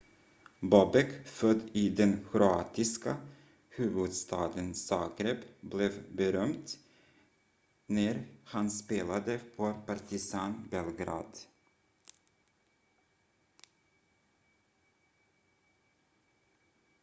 bobek född i den kroatiska huvudstaden zagreb blev berömd när han spelade för partizan belgrad